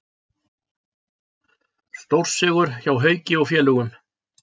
Stórsigur hjá Hauki og félögum